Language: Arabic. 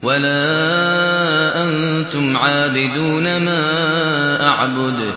وَلَا أَنتُمْ عَابِدُونَ مَا أَعْبُدُ